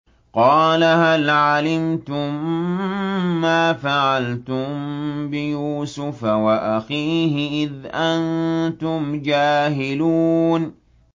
قَالَ هَلْ عَلِمْتُم مَّا فَعَلْتُم بِيُوسُفَ وَأَخِيهِ إِذْ أَنتُمْ جَاهِلُونَ